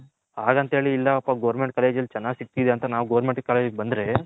ಅಗಂತ ಹೇಳಿ ಇಲ್ಲ ಪ Government College ಅಲ್ಲಿ ಚೆನ್ನಾಗ್ ಸಿಗ್ತೈತೆ ಅಂತ ನಾನು Government College ಗೆ ಬಂದ್ರೆ